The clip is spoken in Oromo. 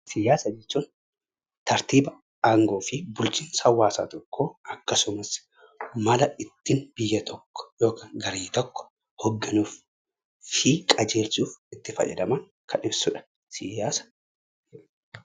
Siyaasa jechuun tartiiba aangoo fi bulchiinsa hawwaasa tokkoo akkasumas mala ittiin biyya tokko yookaan garee tokko hogganuu fi qajeelchuuf itti fayyadamanodha siyaasni.